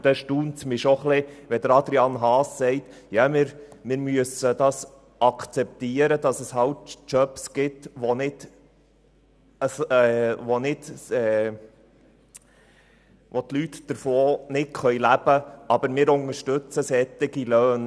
Es erstaunt mich, wenn Adrian Haas meint, man müsse akzeptieren, dass es Jobs gebe, von denen die Leute nicht leben könnten, aber man unterstütze solche Löhne.